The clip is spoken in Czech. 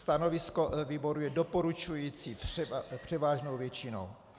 Stanovisko výboru je doporučující převážnou většinou.